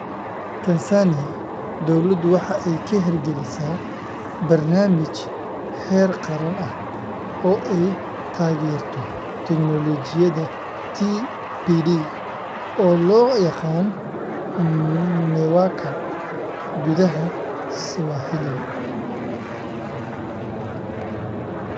Tansaaniya, dawladdu waxa ay ka hirgelinaysaa barnaamij heer qaran ah oo ay taageerto teknoolojiyadda TPD (oo loo yaqaan MEWAKA gudaha Swahili).